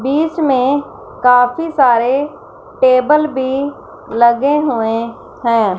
बीच में काफी सारे टेबल भी लगे हुए हैं।